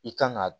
I kan ga